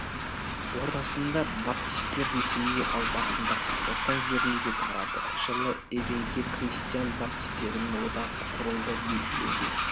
ортасында баптистер ресейге ал басында қазақстан жеріне де тарады жылы евангел христиан баптистерінің одағы құрылды белгіленген